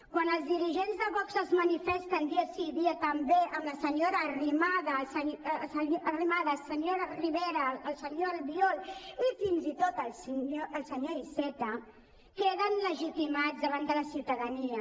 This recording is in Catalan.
quan els dirigents de vox es manifesten dia sí dia també amb la senyora arrimadas el senyor rivera el senyor albiol i fins i tot el senyor iceta queden legitimats davant de la ciutadania